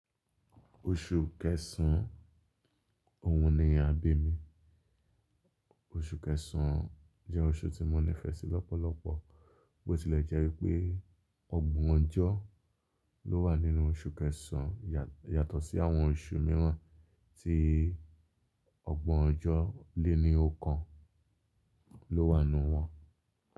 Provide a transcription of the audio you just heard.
Oṣù Kẹsàn-án, òun ni àbí mi. Oṣù Kẹsàn-án jẹ́ oṣù tí mo nífẹ̀ẹ́ sí lọ́pọ̀lọpọ̀ bó ti lẹ́ jẹ́ pé ọgbọ̀n ọjọ́ ló wà nínú oṣù Kẹsàn-án yàtọ̀ sí àwọn oṣù mìíràn tí ọgbọ̀n ọjọ́ léni oókan ló wà nínú wọn.